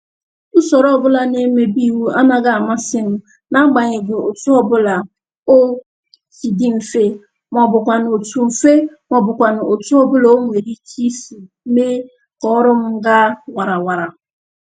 Usoro ọbụla na-emebi iwu anaghị amasị n'agbanyeghị otu ọbụla o si dị mfe, maọbụkwanụ otu mfe, maọbụkwanụ otu ọbụla o nwere ike isi mee ka ọrụ m ga warawara